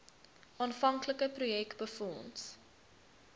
aanvanklike projek befonds